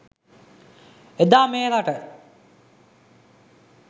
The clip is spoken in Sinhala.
එදා මේ රට